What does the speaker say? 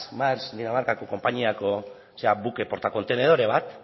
maersk dinamarkako konpainiako buke portakontenedore bat